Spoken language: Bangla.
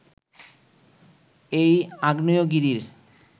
এই আগ্নেয়গিরির